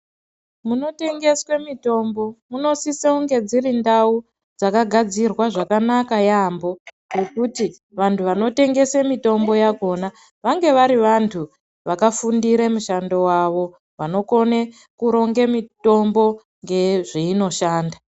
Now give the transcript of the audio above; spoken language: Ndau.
Munotengeswe mitombo, munosisa kunge dzirindawu dzakagadzirwa zvakanaka yambo, zvekuti vantu vanotengese mitombo yakhona, vange vari vantu vakafundire mushando wavo vanokone kuronge mitombo ngezveyi noshanda.